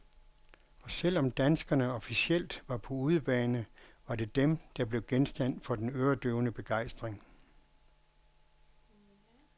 Og selv om danskerne officielt var på udebane, var det dem, der blev genstand for den øredøvende begejstring.